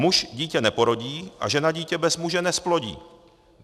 Muž dítě neporodí a žena dítě bez muže nezplodí.